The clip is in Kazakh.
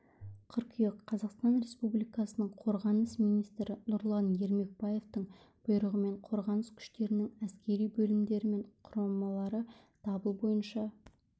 қыркүйек қазақстан республикасының қорғаныс министрі нұрлан ермекбаевтың бұйрығымен қорғаныс күштерінің әскери бөлімдері мен құрамалары дабыл бойынша